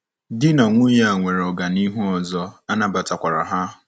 Di na nwunye a nwere ọganihu ọzọ, a nabatakwara ha.